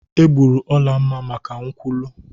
Egburu Olamma maka nkwulu.